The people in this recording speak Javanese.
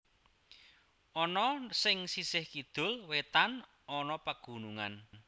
Ana sing sisih kidul wetan ana pegunungan